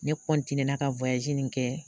Ne ka nin kɛ